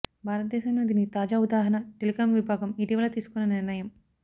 భారతదేశంలో దీనికి తాజా ఉదాహరణ టెలికాం విభాగం ఇటీవల తీసుకున్న నిర్ణయం